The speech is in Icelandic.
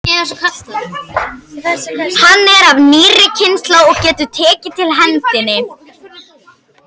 Hann er af nýrri kynslóð og getur tekið til hendinni.